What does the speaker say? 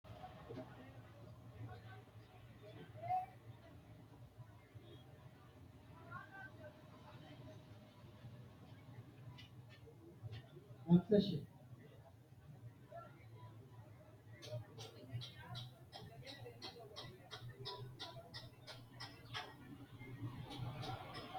Mininna biirote uduunnicho mininna biirote uduunnichooti yineemmohu galleemmo minenna babbaxxitino biirora horonsi'neemmo uduunnicho baalanka gamba assine mininna biirote uduunnicho yineemmo